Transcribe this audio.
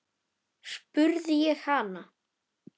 spurði ég hann.